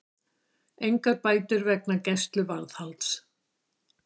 Engar bætur vegna gæsluvarðhalds